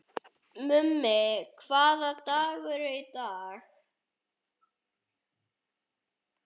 Mummi, hvaða dagur er í dag?